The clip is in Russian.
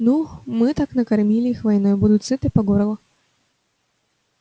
ну мы так накормили их войной будут сыты по горло